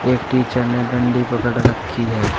एक टीचर ने डंडी पकड़ रखी है।